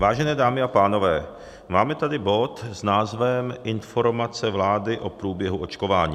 Vážené dámy a pánové, máme tady bod s názvem Informace vlády o průběhu očkování.